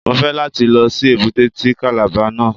Mo fẹ́ láti lọ sí èbúté ti Kàlàba náà.